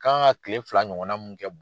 Kan ka kile fila ɲɔgɔnna mun kɛ